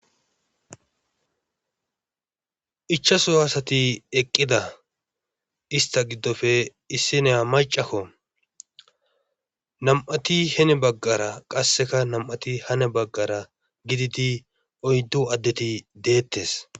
Ichasu asati eqqida istta giddofe issiniya maccako nam7atiheni baggara qasseka nam7ati hani baggara gididi oyddu addeti deettees.